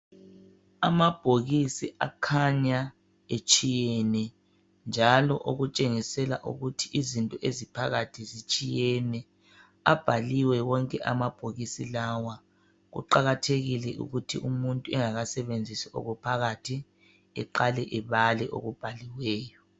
Amabhokisi akhanya etshiyene njalo okutshengisela ukuthi izinto eziphakathi zitshiyene .Abhaliwe wonke mabhokisi lawa .Kuqakathekile ukuthi umuntu engakasebenzisi okuphakathi eqale ebale okubhaliweyo